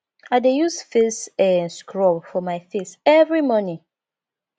i dey use face um scrub for my face every morning